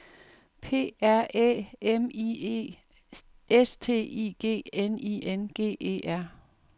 P R Æ M I E S T I G N I N G E R